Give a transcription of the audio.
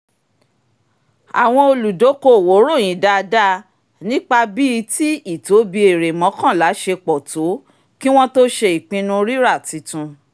àwọn olùdokoowo ròyìn dáadáa nípa bíi tí ìtóbi èrè mọ́kànlá ṣe pọ̀ tó kí wọ́n tó ṣe ìpinnu rírà tuntun